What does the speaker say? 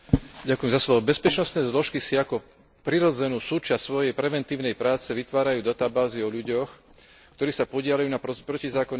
Bezpečnostné zložky si ako prirodzenú súčasť svojej preventívnej práce vytvárajú databázy o ľuďoch, ktorí sa podieľajú na protizákonnej činnosti.